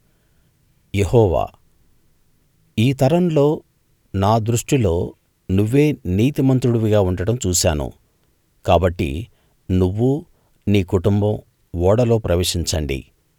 యెహోవా ఈ తరంలో నా దృష్టిలో నువ్వే నీతిమంతుడివిగా ఉండడం చూశాను కాబట్టి నువ్వు నీ కుటుంబం ఓడలో ప్రవేశించండి